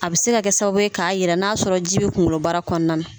A bɛ se ka kɛ sababu ye k'a jira n'a sɔrɔ jibi kunkoloba kɔnɔna na.